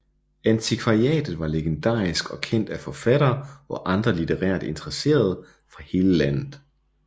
Antikvariatet var legendarisk og kendt af forfattere og andre litterært interesserede fra hele landet